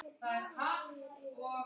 Hvar býrðu þá?